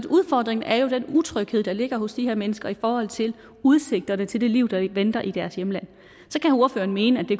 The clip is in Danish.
udfordringen er jo den utryghed der ligger hos de her mennesker i forhold til udsigterne til det liv der venter i deres hjemland så kan ordføreren mene at det